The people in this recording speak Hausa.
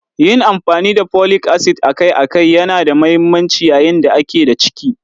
Yin amfani da Folic acid akai-akai yana da mahimmanci yayin da a ke da ciki.